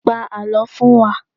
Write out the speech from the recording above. Pa àlọ́ fún wa!